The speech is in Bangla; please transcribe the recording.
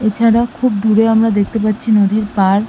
এছাড়া খুব দূরে আমরা দেখতে পাচ্ছি নদীর পাড়।